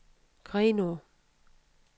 Grenaa